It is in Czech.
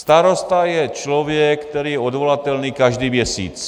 Starosta je člověk, který je odvolatelný každý měsíc.